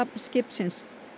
skipsins